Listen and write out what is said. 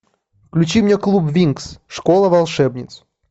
включи мне клуб винкс школа волшебниц